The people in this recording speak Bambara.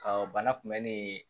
bana kunbɛ ni